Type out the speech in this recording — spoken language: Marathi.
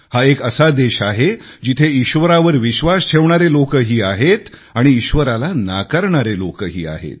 हा एक असा देश आहे जिथे ईश्वरावर विश्वास ठेवणारे लोकही आहेत आणि ईश्वराला नाकारणारे लोकही आहेत